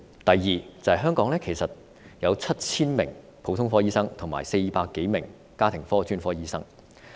第二，香港其實有 7,000 名普通科醫生及400多名家庭科專科醫生。